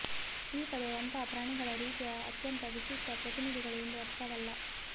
ಈ ಪದವು ಅಂತಹ ಪ್ರಾಣಿಗಳ ರೀತಿಯ ಅತ್ಯಂತ ವಿಶಿಷ್ಟ ಪ್ರತಿನಿಧಿಗಳು ಎಂದು ಅರ್ಥವಲ್ಲ